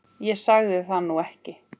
Ég sagði það nú ekki.